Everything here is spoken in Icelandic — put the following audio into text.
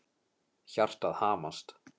Hjartað hamast.